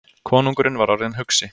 Konungurinn var orðinn hugsi.